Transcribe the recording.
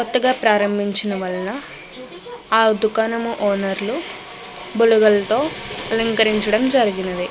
కొత్తగా ప్రభాంచిడం వళ్ళ ఆ దుకాణం ఓనర్లు బుడగలతో అలంకరించడం జరిగినది.